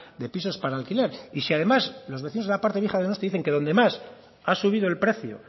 de pisos para alquiler y si además los vecinos de la parte vieja de donosti dicen que donde más ha subido el precio